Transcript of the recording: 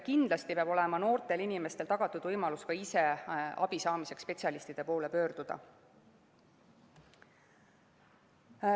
Kindlasti peab olema noortele inimestele tagatud võimalus ka ise abi saamiseks spetsialistide poole pöörduda.